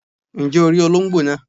Ǹjẹ́ o rí olóńgbò naa